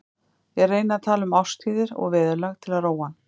Ég reyni að tala um árstíðir og veðurlag til að róa hann.